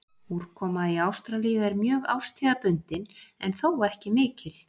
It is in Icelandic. Úrkoma í Ástralíu er mjög árstíðabundin en þó ekki mikil.